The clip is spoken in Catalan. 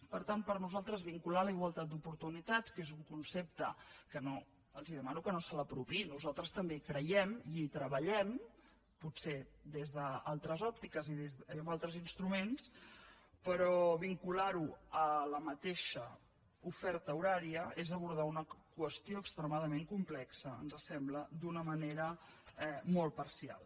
per tant per nosaltres vincular la igualtat d’oportunitats que és un concepte que els demano que no s’apropiïn nosaltres també hi creiem i hi treballem potser des d’altres òptiques i amb altres instruments a la mateixa oferta horària és abordar una qüestió extremadament complexa ens sembla d’una manera molt parcial